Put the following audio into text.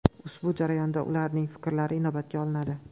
Ushbu jarayonda ularning fikrlari inobatga olinadi.